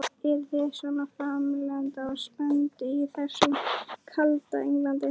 Eruð þið svona framandleg og spennandi í þessu kalda Englandi?